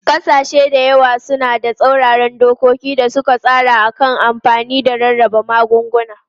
Kasashe da yawa suna da tsauraran dokoki da suka tsara a kan amfani da rarraba magunguna.